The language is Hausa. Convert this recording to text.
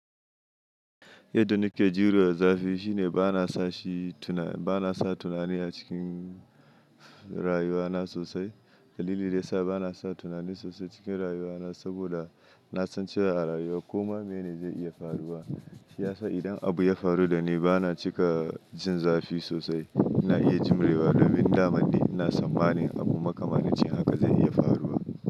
Yadda nike jiyo zafi shine bana sashi tuna, bana sa tunani a cikin rayuwa na sosai. Dalili da ya sa bana sa tunani sosai cikin rayuwa na saboda na san cewa a rayuwa komai mene ne zai iya faruwa. Shi ya sa idan abu ya faru da ni bana cika jin zafi sosai. Na iya jimrewa domin daman ni na sammanin abubuwa kamar nacin haka zai iya faruwa.